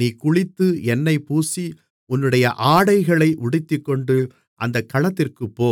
நீ குளித்து எண்ணெய் பூசி உன்னுடைய ஆடைகளை உடுத்திக்கொண்டு அந்தக் களத்திற்குப்போ